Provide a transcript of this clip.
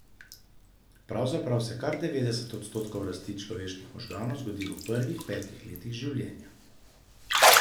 Pravzaprav se kar devetdeset odstotkov rasti človeških možganov zgodi v prvih petih letih življenja.